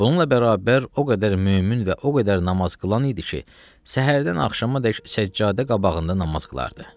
Bununla bərabər o qədər mömin və o qədər namaz qılan idi ki, səhərdən axşamadək səccadə qabağında namaz qılardı.